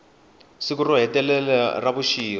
siku ro hetelela ra vuxirho